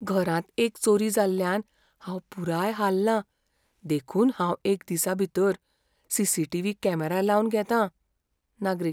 घरांत एक चोरी जाल्ल्यान हांव पुराय हाललां देखून हांव एक दिसा भितर सी.सी.टी.व्ही. कॅमेरा लावन घेतां. नागरीक